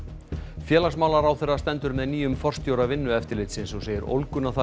félagsmálaráðherra stendur með nýjum forstjóra Vinnueftirlitsins og segir ólguna þar